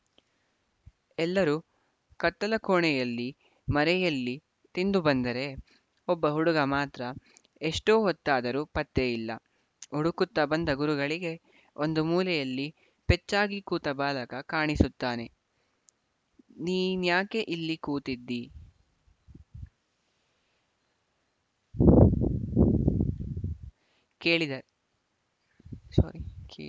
ಎಲ್ಲರೂ ಕತ್ತಲ ಕೋಣೆಯಲ್ಲಿ ಮರೆಯಲ್ಲಿ ತಿಂದು ಬಂದರೆ ಒಬ್ಬ ಹುಡುಗ ಮಾತ್ರ ಎಷ್ಟು ಹೊತ್ತಾದರೂ ಪತ್ತೆಯಿಲ್ಲ ಹುಡುಕುತ್ತ ಬಂದ ಗುರುಗಳಿಗೆ ಒಂದು ಮೂಲೆಯಲ್ಲಿ ಪೆಚ್ಚಾಗಿ ಕೂತ ಬಾಲಕ ಕಾಣಿಸುತ್ತಾನೆನೀನ್ಯಾಕೆ ಇಲ್ಲಿ ಕೂತಿದ್ದೀ ಕೇಳಿದರು